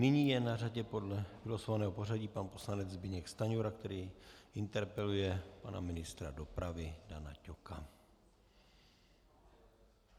Nyní je na řadě podle vylosovaného pořadí pan poslanec Zbyněk Stanjura, který interpeluje pana ministra dopravy Dana Ťoka.